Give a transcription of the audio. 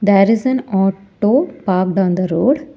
There is an auto parked on the road.